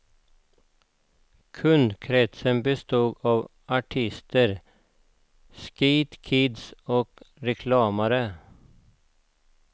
Kundkresten bestod av artister, skatekids och reklamare.